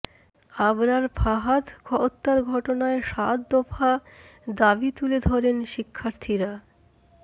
আবরার ফাহাদ হত্যার ঘটনায় সাত দফা দাবি তুলে ধরেন শিক্ষার্থীরা